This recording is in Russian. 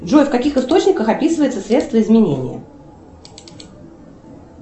джой в каких источниках описывается средство изменения